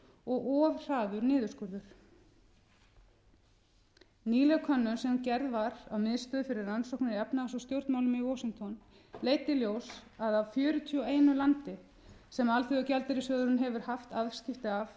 gjaldeyrisvarasjóðsins og of hraður niðurskurður nýleg könnun sem gerð var af miðstöð fyrir rannsóknir á efnahags og stjórnmálum í washington leiddi í ljós að af fjörutíu og einu landi sem alþjóðagjaldeyrissjóðurinn hefur haft afskipti af